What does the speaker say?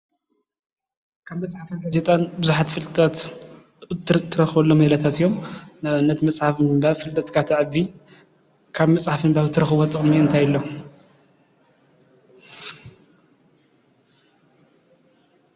ንኣብነት መፅሓፍ ብምንባብ ፍልጠታትካ ትረክበሉ ሜላታት እዩ። እዚኦም መፅሓፍ ብምንባብ ፍልጠትካ ትዕቢ ካብ መፅሓፍ እንረክቦ ጠቅሚ እትረክብዎ ጠቅሚ እታይ ኣሎ ?